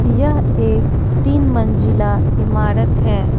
यह एक तीन मंज़िला इमारत है।